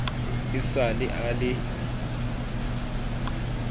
e sa le a le